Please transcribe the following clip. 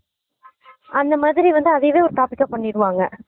அந்த மாதிரி வந்து அதையே ஒரு topic ஆ பண்ணிருவாங்க